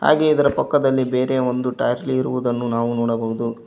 ಹಾಗೆ ಇದರ ಪಕ್ಕದಲ್ಲಿ ಬೇರೆ ಒಂದು ಟ್ರ್ಯಾಕ್ಟರಿ ಇರುವುದನ್ನು ನಾವು ನೋಡಬಹುದು.